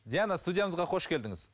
диана студиямызға қош келдіңіз